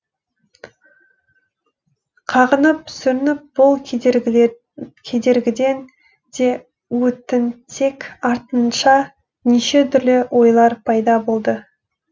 қағынып сүрініп бұл кедергіден де өттің тек артынша неше түрлі ойлар пайда болды